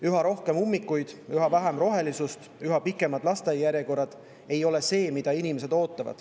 Üha rohkem ummikuid, üha vähem rohelust ega üha pikemad lasteaiajärjekorrad ei ole see, mida inimesed ootavad.